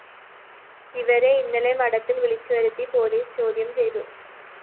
ഇവരെ ഇന്നലെ മഠത്തില്‍ വിളിച്ചുവരുത്തി പോലീസ് ചോദ്യം ചെയ്തു